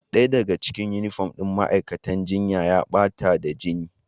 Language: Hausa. Daya daga cikin yunifom ɗin ma'aikatan jinya ya bata ne da jini.